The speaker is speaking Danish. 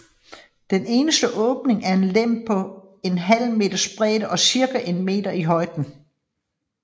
Den eneste åbning er en lem på en halv meters bredde og cirka en meter i højden